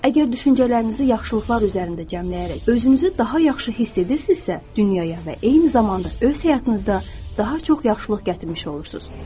Əgər düşüncələrinizi yaxşılıqlar üzərində cəmləyərək özünüzü daha yaxşı hiss edirsinizsə, dünyaya və eyni zamanda öz həyatınızda daha çox yaxşılıq gətirmiş olursunuz.